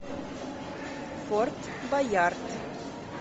форт боярд